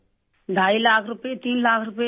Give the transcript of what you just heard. ڈھائی لاکھ روپئے، تین لاکھ روپئے